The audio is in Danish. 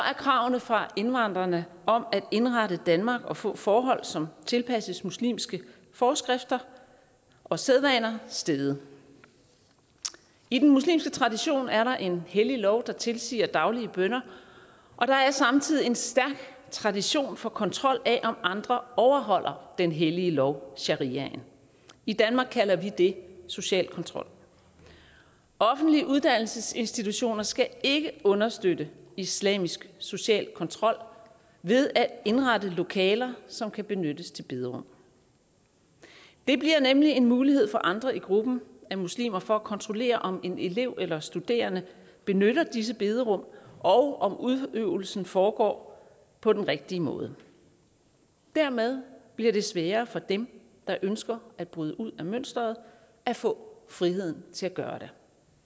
kravene fra indvandrerne om at indrette danmark og få forhold som tilpasses muslimske forskrifter og sædvaner steget i den muslimske tradition er der en hellig lov der tilsiger daglige bønner og der er samtidig en stærk tradition for kontrol af om andre overholder den hellige lov shariaen i danmark kalder vi det social kontrol offentlige uddannelsesinstitutioner skal ikke understøtte islamisk social kontrol ved at indrette lokaler som kan benyttes til bederum det bliver nemlig en mulighed for andre i gruppen af muslimer for at kontrollere om en elev eller studerende benytter disse bederum og om udøvelsen foregår på den rigtige måde dermed bliver det sværere for dem der ønsker at bryde ud af mønsteret at få friheden til at gøre det